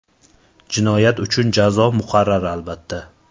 Jinoyat uchun jazo muqarrar, albatta.